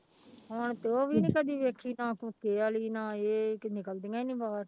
ਹੁਣ ਤੇ ਉਹ ਵੀ ਨੀ ਕਦੀ ਵੇਖੀ ਨਾ ਕੁੱਕੇ ਵਾਲੀ ਨਾ ਇਹ ਕਿ ਨਿਕਲਦੀਆਂ ਹੀ ਨੀ ਬਾਹਰ।